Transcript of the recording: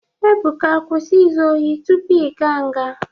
Ebuka kwụsị izu ohi tupuu igaa nga!